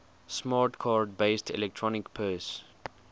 smart card based electronic purse